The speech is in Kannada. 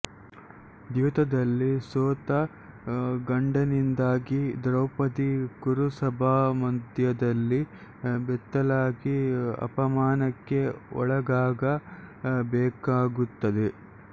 ದ್ಯೂತದಲ್ಲಿ ಸೋತ ಗಂಡನಿಂದಾಗಿ ದ್ರೌಪದಿ ಕುರುಸಭಾಮಧ್ಯದಲ್ಲಿ ಬೆತ್ತಲಾಗಿ ಅಪಮಾನಕ್ಕೆ ಒಳಗಾಗ ಬೇಕಾಗುತ್ತದೆ